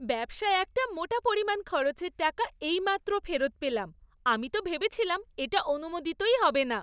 ব্যবসায় একটা মোটা পরিমাণ খরচের টাকা এইমাত্র ফেরত পেলাম, আমি তো ভেবেছিলাম এটা অনুমোদিতই হবে না।